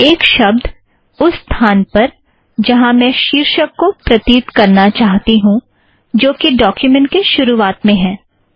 एक शब्द उस स्थान पर जहाँ मैं शीर्षक को प्रतीत करना चाहती हूँ जो कि डोक्युमेंट के शुरुवात में है